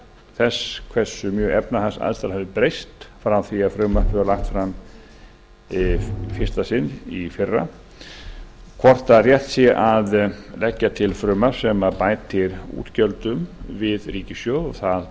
þess hversu mjög efnahagsaðstæður hafa breyst frá því að frumvarpið var lagt fram í fyrsta sinn í fyrra hvort rétt sé að leggja fram frumvarp sem bætir útgjöldum við ríkissjóð og það